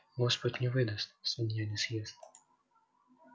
господь не выдаст свинья не съест